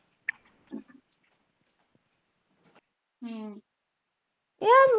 ਹੁੰ